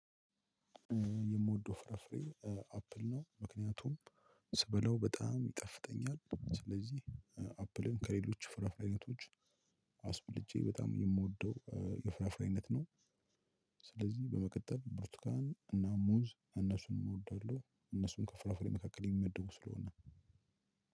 የምወደው ፍራፍሬ እ አፕል ነው ምክንያቱም ስበለው በጣም ይጠፍጠኛል ስለዚህ እ አፕልን ከሌሎች ፍራፍሬ አይነቶች አስብልጬ በጣም የምወደው የፍራፍሬ አይነት ነው። ስለዚህ በመቀጠል ብርቱካን እና ሙዝ እነሱንም እወዳለሁ እነሱን ከፍራፍሬ መካከል የሚመድቡ ስለሆነ።